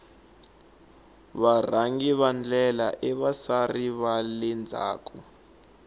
varhangi va ndlela i vasari vale ndzhaku